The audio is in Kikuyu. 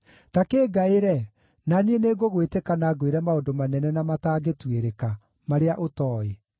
‘Ta kĩngaĩre, na niĩ nĩngũgwĩtĩka na ngwĩre maũndũ manene na matangĩtuĩrĩka, marĩa ũtooĩ.’